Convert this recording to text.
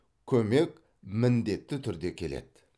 көмек міндетті түрде келеді